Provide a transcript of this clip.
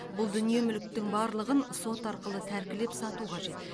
бұл дүние мүліктің барлығын сот арқылы тәркілеп сату қажет